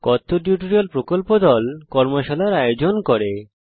কথ্য টিউটোরিয়াল প্রকল্প দল কথ্য টিউটোরিয়াল ব্যবহার করে কর্মশালার ও আয়োজন করে